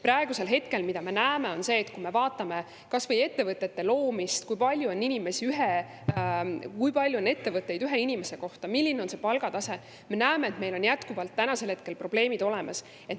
Praegu me näeme, vaadates kas või ettevõtete loomist, seda, kui palju on ettevõtteid ühe inimese kohta, milline on palgatase, et meil on jätkuvalt probleemid olemas.